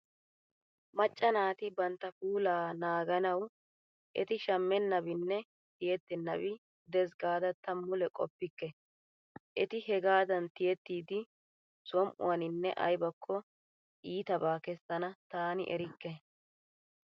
Macca naati banttta puulaa naaganawu eti shammennabinne tiyettennabi de'ees gaada ta mule qoppikke. Eti hegaadan tiyettiiddi som"uwaniine aybakko iirltabaa kesaana tana erikke!